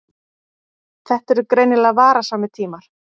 Þetta eru greinilega varasamir tímar.